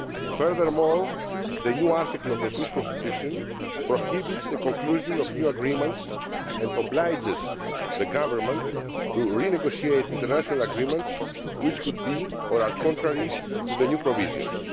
Furthermore, the new article of the Swiss Constitution prohibits the conclusion of new agreements and obliges the Government to renegotiate international agreements which would be, or are, contrary to the new provisions.